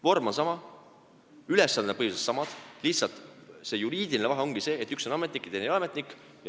Vorm on sama, ülesanded on põhiliselt samad, lihtsalt on juriidiline vahe, et üks on ametnik ja teine ei ole ametnik.